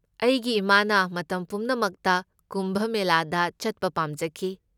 ꯑꯩꯒꯤ ꯏꯃꯥꯅ ꯃꯇꯝ ꯄꯨꯝꯅꯃꯛꯇ ꯀꯨꯝꯚ ꯃꯦꯂꯥꯗ ꯆꯠꯄ ꯄꯥꯝꯖꯈꯤ꯫